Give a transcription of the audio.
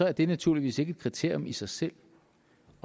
er det naturligvis ikke et kriterium i sig selv